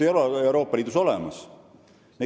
Seda ei ole Euroopa Liidus olemas.